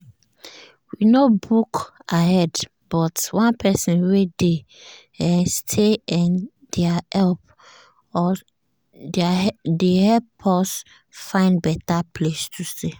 we no book ahead but one person wey dey um stay um dere help us find better place to stay. um